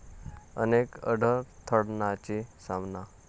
अनेक अडथळय़ांचा सामना